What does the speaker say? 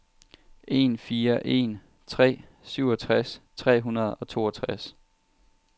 en fire en tre syvogtres tre hundrede og toogtres